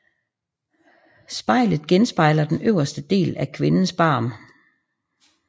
Spejlet genspejler den øverste del af kvindens barm